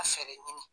A fɛɛrɛ ɲini